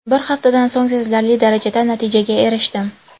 Bir haftadan so‘ng sezilarli darajada natijaga erishdim.